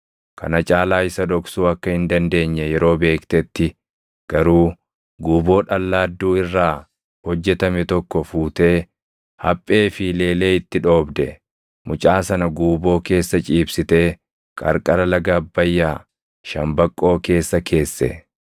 Kana caalaa isa dhoksuu akka hin dandeenye yeroo beektetti garuu guuboo dhallaadduu irraa hojjetame tokko fuutee haphee fi leelee itti dhoobde; mucaa sana guuboo keessa ciibsitee qarqara laga Abbayyaa shambaqqoo keessa keesse.